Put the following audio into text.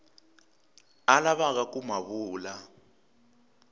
a lavaka ku ma vula